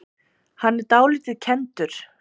Hann er dálítið kenndur.